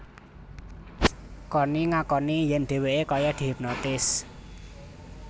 Conni ngakoni yén dheweké kaya dihipnotis